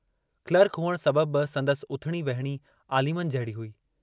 Clark हुअण सबबि बि संदसि उथणी विहणी ऑलिमन जहिड़ी हुई।